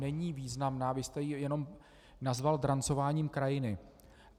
Není významná, vy jste ji jenom nazval drancováním krajiny.